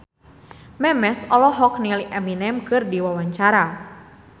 Memes olohok ningali Eminem keur diwawancara